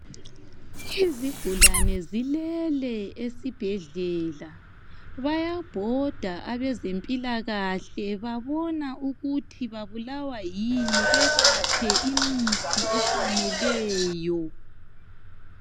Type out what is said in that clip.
Izigulane zilele esibhedlela . Bayabhoda abezempilakahle babona ukuthi babulawa yini bebaphe imithi efaneleyo.